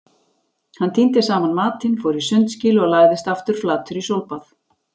Hann tíndi saman matinn, fór í sundskýlu og lagðist aftur flatur í sólbað.